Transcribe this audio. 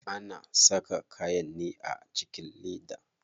Ana saka kayan ne a cikin leda.